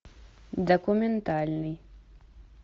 документальный